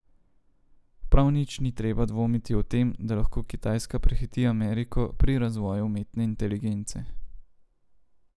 Prav nič ni treba dvomiti o tem, da lahko Kitajska prehiti Ameriko pri razvoju umetne inteligence.